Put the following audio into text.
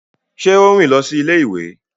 Ṣe o rìn lọ si ilé-ìwé?